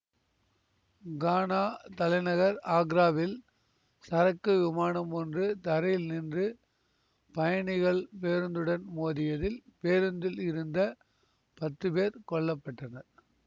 கானா தலைநகர் ஆக்ராவில் சரக்கு விமானம் ஒன்று தரையில் நின்று பயணிகள் பேருந்துடன் மோதியதில் பேருந்தில் இருந்த பத்து பேர் கொல்ல பட்டனர்